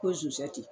Ko zɛti